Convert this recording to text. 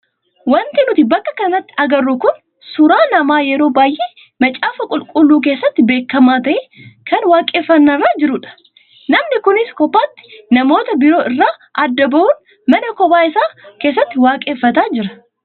Wanti nuti bakka kanatti agarru kun suuraa nama yeroo baay'ee macaafa qulqulluu keessatti beekamaa ta'ee kan waaqeffannaa irra jirudha. Namni kunis kophaatti namoota biroo irraa adda bahuun mana kophaa isaa keessatti waaqeffataa jira.